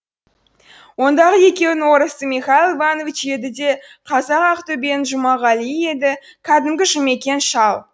ондағы екеудің орысы михаил иванович еді де қазағы ақтөбенің жұмағалиы еді кәдімгі жұмекең шал